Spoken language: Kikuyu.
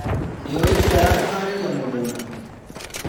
Nĩũĩ njĩra ya kũharĩria mũgũnda.